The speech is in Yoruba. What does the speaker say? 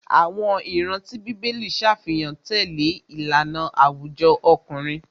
Àwọn ìran tí bíbélì ṣàfihàn tẹlẹ ìlànà àwùjọ ọkùnrin.